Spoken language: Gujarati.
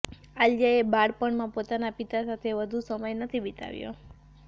આલિયાએ બાળપણમાં પોતાના પિતા સાથે વધુ સમય નથી વિતાવ્યો